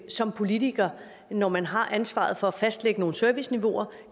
som politiker når man har ansvaret for at fastlægge nogle serviceniveauer